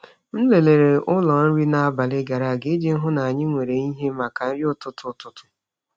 M lelere ụlọ nri n’abalị gara aga iji hụ na anyị nwere ihe maka nri ụtụtụ. ụtụtụ.